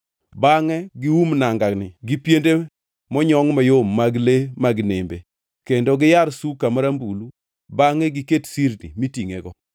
Bangʼe gium nangani gi piende monyongʼ mayom mag le mag nembe, kendo giyar suka marambulu bangʼe giket sirni mitingʼego.